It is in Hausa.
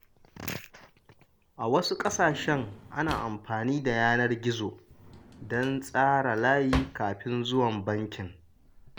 A wasu ƙasashen, ana amfani da yanar gizo don tsara layi kafin zuwa bankin.